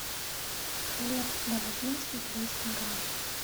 хлеб бородинский триста грамм